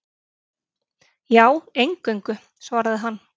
Já, eingöngu, svaraði hann.